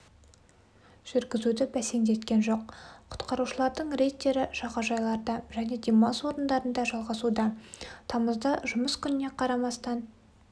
жүргізуді бәсеңдеткен жоқ құтқарушылардың рейдтері жағажайларда және дала демалыс орындарында жалғасуда тамызда жұмыс күніне қарамастан